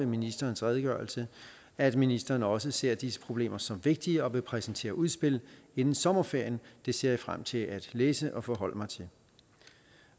ministerens redegørelse at ministeren også ser disse problemer som vigtige og vil præsentere udspil inden sommerferien det ser jeg frem til at læse og forholde mig til